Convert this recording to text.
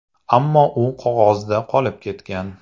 Ammo u qog‘ozda qolib ketgan.